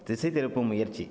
திசைதிருப்பும் முயற்சி